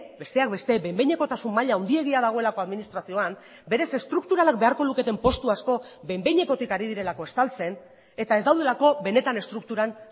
besteak beste behin behinekotasun maila handiegia dagoelako administrazioan berez estrukturalak beharko luketen postu asko behin behinekotik ari direlako estaltzen eta ez daudelako benetan estrukturan